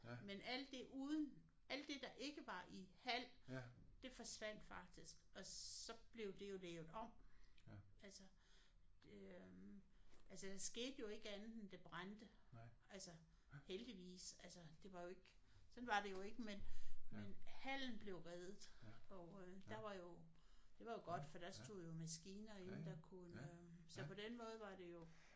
Men alt det uden alt det der ikke var i hal det forsvandt faktisk og så blev det jo lavet om altså øh altså der skete jo ikke andet end at det brændte altså heldigvis altså det var jo ikke sådan var det jo ikke. Men men hallen blev reddet og øh der var jo det var jo godt for der stod jo maskiner inde der kunne øh så på den måde var det jo